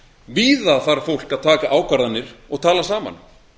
víða þarf fólk að taka ákvarðanir og tala saman